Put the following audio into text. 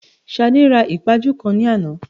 Ṣadé ra ìpaju kan ní àná